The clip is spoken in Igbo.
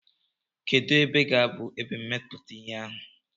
Kedu ebe ga-abụ ebe mmepụta ihe ahụ?